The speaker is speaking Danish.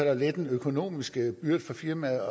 at lette de økonomiske byrder for firmaerne